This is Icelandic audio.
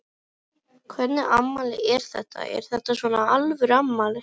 Hvernig afmæli er þetta, er þetta svona alvöru afmæli?